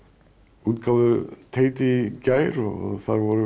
útgáfuteiti í gær og þar voru